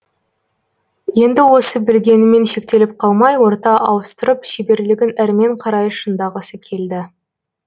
енді осы білгенімен шектеліп қалмай орта ауыстырып шеберлігін әрмен қарай шыңдағысы келді